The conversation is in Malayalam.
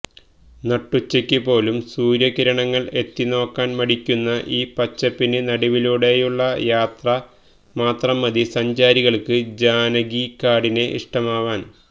നട്ടുച്ചയ്ക്ക് പോലും സൂര്യകിരണങ്ങള് എത്തിനോക്കാന് മടിയ്ക്കുന്ന ഈ പച്ചപ്പിന് നടുവിലൂടെയുള്ള യാത്ര മാത്രം മതി സഞ്ചാരികള്ക്ക് ജാനകികാടിനെ ഇഷ്ടമാവാന്